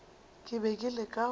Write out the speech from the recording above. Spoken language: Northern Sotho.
ke be ke leka go